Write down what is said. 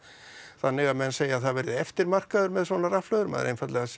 þannig að menn segja að það verði eftirmarkaður með svona rafhlöður maður einfaldlega